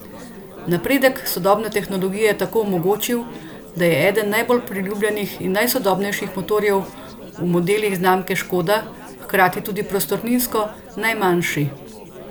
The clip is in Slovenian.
Napredek sodobne tehnologije je tako omogočil, da je eden najbolj priljubljenih in najsodobnejših motorjev v modelih znamke Škoda hkrati tudi prostorninsko najmanjši!